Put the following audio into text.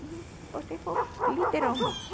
E botei fogo, literalmente.